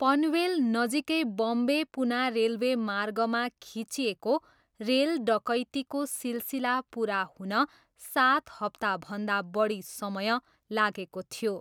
पनवेल नजिकै बम्बे पुना रेलवे मार्गमा खिचिएको रेल डकैतीको सिलसिला पुरा हुन सात हप्ताभन्दा बढी समय लागेको थियो।